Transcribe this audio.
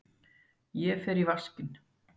Ég fer í vaskinn.